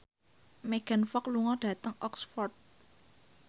Megan Fox lunga dhateng Oxford